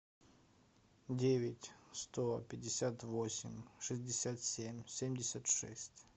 девять сто пятьдесят восемь шестьдесят семь семьдесят шесть